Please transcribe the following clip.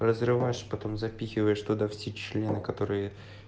разрываешь потом записываешь туда все члены которые